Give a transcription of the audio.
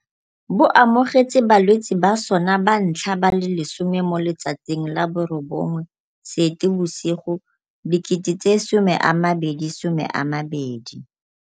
Bo amogetse balwetse ba sona ba ntlha ba le 10 mo letsatsing la bo 9 Seetebosigo 2020.